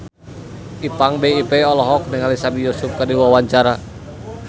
Ipank BIP olohok ningali Sami Yusuf keur diwawancara